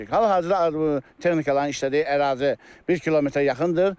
Hal-hazırda texnikaların işlədiyi ərazi 1 kilometrə yaxındır.